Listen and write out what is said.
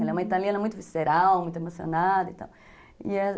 Ela é uma italiana muito visceral, muito emocionada e tal.